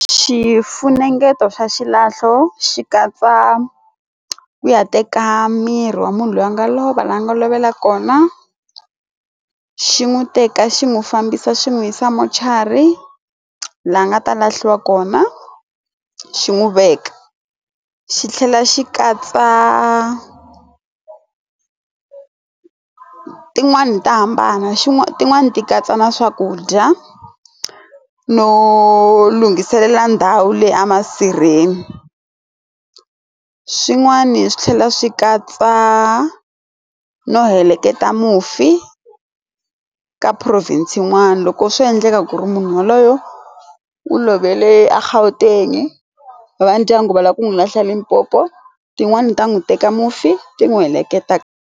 Xifunengeto xa xilahlo xi katsa ku ya teka miri wa munhu loyi a nga lova laha nga lovela kona xi n'wi teka xi n'wi fambisa xi n'wi yisa mortuary laha nga ta lahliwa kona xi n'wi veka xi tlhela xi katsa tin'wani ta hambana xin'wana tin'wani ti katsa na swakudya no lunghiselela ndhawu leyi a masirheni swin'wani swi tlhela swi katsa no heleketa mufi ka province yin'wani loko swo endleka ku ri munhu yaloye u lovile a Gauteng va ndyangu va lava ku n'wi lahla eLimpopo tin'wani ta n'wi teka mufi ti n'wi heleketa.